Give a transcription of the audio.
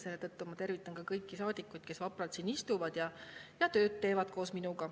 Selle tõttu ma tervitan kõiki saadikuid, kes vapralt siin istuvad ja koos minuga tööd teevad.